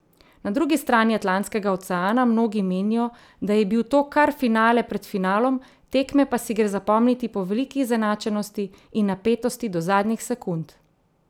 Na drugi strani Atlantskega oceana mnogi menijo, da je bil to kar finale pred finalom, tekme pa si gre zapomniti po veliki izenačenosti in napetosti do zadnjih sekund.